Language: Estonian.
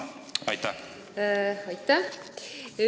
Aitäh!